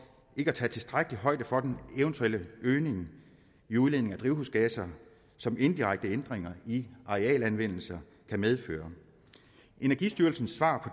ikke at tage tilstrækkelig højde for den eventuelle øgning i udledningen af drivhusgasser som indirekte ændringer i arealanvendelsen kan medføre energistyrelsens svar